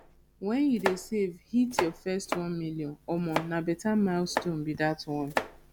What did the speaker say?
wen you dey save hit your first 1 million omo na beta milestone be dat one